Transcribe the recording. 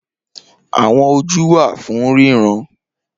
Awọn oju wa fun riran